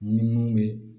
Ni mun bɛ